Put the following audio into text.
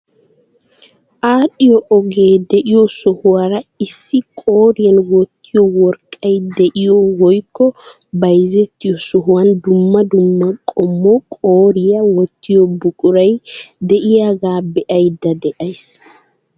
Aadhdhiyoo ogee de'iyoo sohuwaara issi qooriyaan wottiyoo worqqay de'iyoo woykko bayzettiyoo sohuwaan dumma dumma qommo qooriyaa wottiyoo buquray diyoogaa be'ayda de'ays.